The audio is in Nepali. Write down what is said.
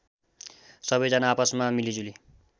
सबैजना आपसमा मिलिजुली